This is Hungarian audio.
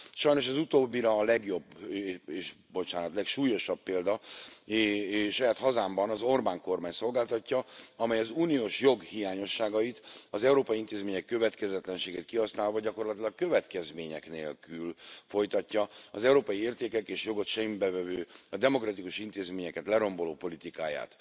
Sajnos az utóbbira a legjobb, bocsánat, legsúlyosabb példát saját hazámban az Orbán kormány szolgáltatja, amely az uniós jog hiányosságait, az európai intézmények következetlenségét kihasználva gyakorlatilag következmények nélkül folytatja az európai értékeket és jogot semmibe vevő, a demokratikus intézményeket leromboló politikáját.